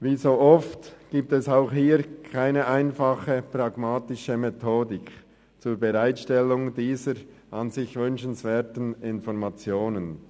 Wie so oft gibt es auch hier keine einfache und pragmatische Methodik zur Bereitstellung dieser an sich wünschenswerten Informationen.